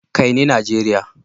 Kai ni Nigeria!